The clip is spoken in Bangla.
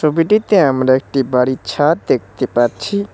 ছবিটিতে আমরা একটি বাড়ির ছাদ দেখতে পাচ্ছি।